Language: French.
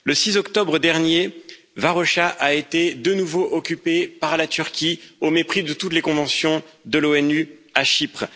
Le 6 octobre dernier, Varosha a été de nouveau occupée par la Turquie, au mépris de toutes les conventions de l'ONU à Chypre.